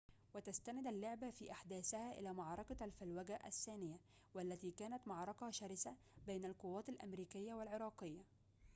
وتستند اللعبة في أحداثها إلى معركة الفلوجة الثانية والتي كانت معركةً شرسةً بين القوات الأمريكية والعراقية